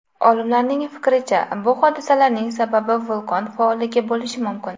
Olimlarning fikricha, bu hodisalarning sababi vulqon faolligi bo‘lishi mumkin.